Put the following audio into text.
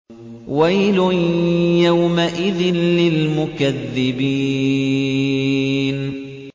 وَيْلٌ يَوْمَئِذٍ لِّلْمُكَذِّبِينَ